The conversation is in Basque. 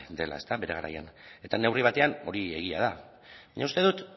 dela ezta bere garaian eta neurri batean hori egia da baina uste dut